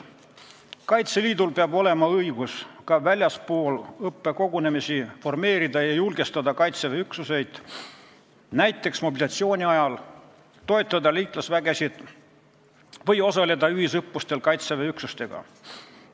Kaitseliidul peab olema õigus ka väljaspool õppekogunemisi formeerida ja julgestada Kaitseväe üksuseid, näiteks mobilisatsiooni ajal toetada liitlasvägesid või osaleda ühisõppustel Kaitseväe üksustega.